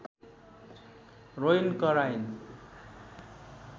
रोइन् कराइन्